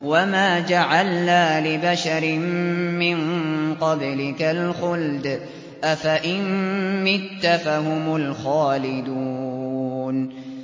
وَمَا جَعَلْنَا لِبَشَرٍ مِّن قَبْلِكَ الْخُلْدَ ۖ أَفَإِن مِّتَّ فَهُمُ الْخَالِدُونَ